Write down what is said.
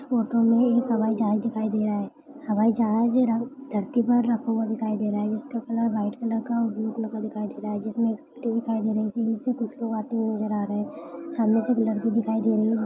इस फोटो में एक हवाई जहाज दिखाई दे रहा है हवाई जा ही धरती पर रखा हुआ दिखाई दे रहा है उसका कलर वाईट कलर और ब्लू कलर का दिखाई दे रहा है जिसमे एक सीडी दिखाई दे रही है सीडी से कुछ लोग आते हुए नजर आ रहे है सामने से एक लड़की दिखाई दे रही है।